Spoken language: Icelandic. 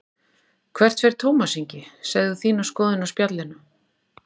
Hvert fer Tómas Ingi, segðu þína skoðun á Spjallinu